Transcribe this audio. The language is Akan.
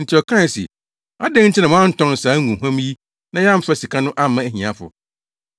enti ɔkae se, “Adɛn nti na woantɔn saa ngohuam yi na yɛamfa sika no amma ahiafo?”